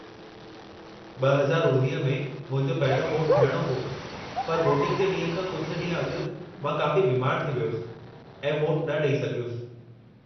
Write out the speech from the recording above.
2019 में मुंहिंजो पहिरियों वोटु थियणो हो, पर वोटिंग जे ॾींहुं खां कुझु ॾींहं अॻु मां काफ़ी बीमारु थी वियुसि ऐं वोटु न ॾई सघियुसि।